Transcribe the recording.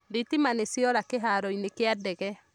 Thitima nĩ ciora kĩharoinĩ kĩa ndege